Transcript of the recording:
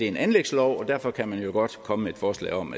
en anlægslov og derfor kan man jo godt komme med et forslag om